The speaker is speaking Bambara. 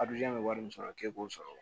A b'i jan bɛ wari min sɔrɔ k'e b'o sɔrɔ